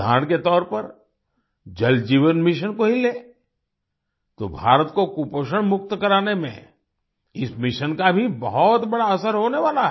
उदाहरण के तौर पर जल जीवन मिशन को ही लें तो भारत को कुपोषणमुक्त कराने में इस मिशन का भी बहुत बड़ा असर होने वाला है